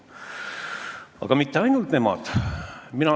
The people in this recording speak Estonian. Aga mitte ainult nemad ei armasta loomi.